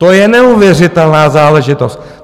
To je neuvěřitelná záležitost!